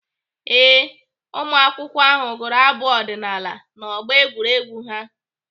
Ee, ụmụakwụkwọ ahụ gụrụ abụ ọdịnaala n'ọgbọ egwuregwu ha.